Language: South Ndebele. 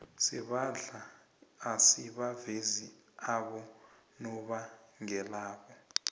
sebandla asibavezi abonobangelabo